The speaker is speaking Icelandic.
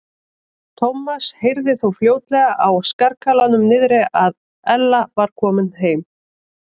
Thomas heyrði þó fljótlega á skarkalanum niðri að Ella væri komin heim.